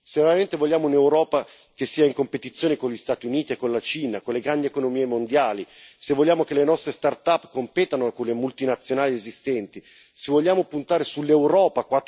Se veramente vogliamo un'Europa che sia in competizione con gli Stati Uniti e con la Cina, con le grandi economie mondiali, se vogliamo che le nostre start up competano con le multinazionali esistenti, se vogliamo puntare sull'Europa